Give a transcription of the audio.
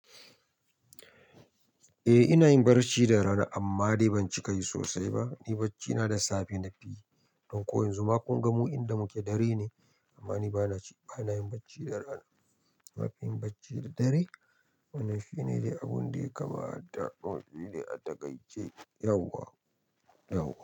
Eh ina yin barci da rana amma dai ban cika yi sosai ba. Ni barci na da safe na fi yi. Don ko yanzu ma kun ga mu inda muke dare ne amma ni ba na ci, ba na yin bacci da rana. Na fi yin barci da dare. Wannan shi ne dai abun dai kamata da wani dai a takaice yauwa, yauwa.